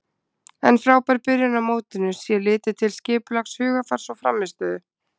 En frábær byrjun á mótinu sé litið til skipulags, hugarfars og frammistöðu.